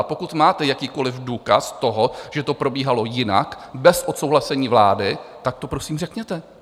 A pokud máte jakýkoli důkaz toho, že to probíhalo jinak, bez odsouhlasení vlády, tak to prosím řekněte.